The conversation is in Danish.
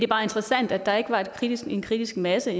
bare interessant at der egentlig ikke var en kritisk en kritisk masse